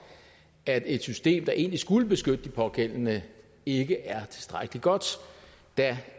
at et system der egentlig skulle beskytte de pågældende ikke er tilstrækkelig godt da